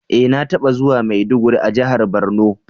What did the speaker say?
E! Na taba zuwa maiduguri a jihar borno.